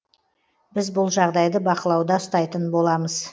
біз бұл жағдайды бақылауда ұстайтын боламыз